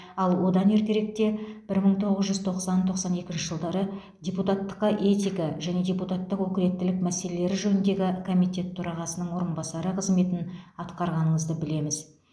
ал одан ертеректе бір мың тоғыз жүз тоқсан тоқсан екінші жылдары депутаттыққа этика және депутаттық өкілеттілік мәселелері женіндегі комитет төрағасының орынбасары қызметін атқарғаныңызды білеміз